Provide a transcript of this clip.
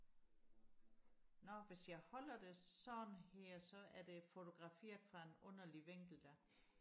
nå hvis jeg holder det sådan her så er det fotograferet fra en underlig vinkel da